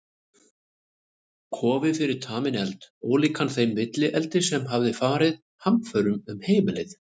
Kofi fyrir taminn eld, ólíkan þeim villieldi sem hafði farið hamförum um heimilið.